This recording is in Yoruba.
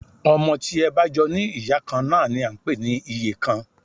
Ọmọ tí ẹ bá jọ ní ìyá kan náà ni à ń pè ní ìyekan